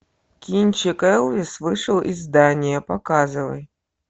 кинчик элвис вышел из здания показывай